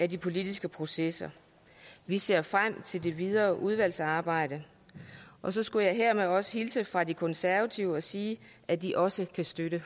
de politiske processer vi ser frem til det videre udvalgsarbejde og så skulle jeg også hilse fra de konservative og sige at de også kan støtte